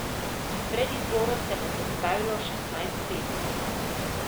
V predizboru se bo predstavilo šestnajst pesmi.